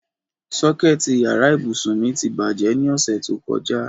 Sọ́kẹ̀tì yàrá ìbùsùn mi ti bàjẹ́ ní ọ̀sẹ̀ tó kọjá.